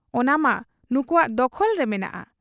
ᱚᱱᱟᱢᱟ ᱱᱩᱠᱩᱣᱟᱜ ᱫᱚᱠᱷᱚᱞᱨᱮ ᱢᱮᱱᱟᱜ ᱟ ᱾